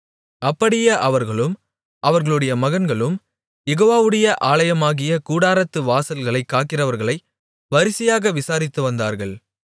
அப்படியே அவர்களும் அவர்களுடைய மகன்களும் யெகோவாவுடைய ஆலயமாகிய கூடாரத்து வாசல்களைக் காக்கிறவர்களை வரிசையாக விசாரித்து வந்தார்கள்